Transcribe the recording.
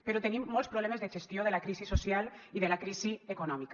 però tenim molts problemes de gestió de la crisi social i de la crisi econòmica